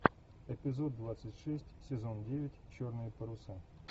эпизод двадцать шесть сезон девять черные паруса